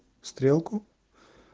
стрелку